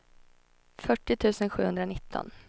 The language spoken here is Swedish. fyrtio tusen sjuhundranitton